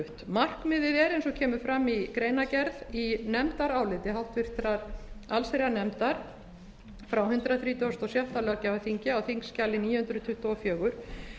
markmiðið er eins og kemur fram í greinargerð í nefndaráliti háttvirtrar allsherjarnefndar frá hundrað þrítugasta og sjötta löggjafarþingi á þingskjali níu hundruð tuttugu og fjögur